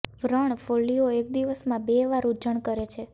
વ્રણ ફોલ્લીઓ એક દિવસમાં બે વાર ઊંજણ કરે છે